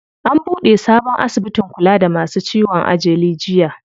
An buɗe sabon asibitin kula da masu ciwon ajali jiya.